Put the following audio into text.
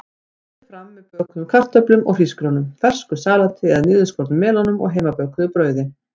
Berið fram með bökuðum kartöflum eða hrísgrjónum, fersku salati eða niðurskornum melónum og heimabökuðu brauði.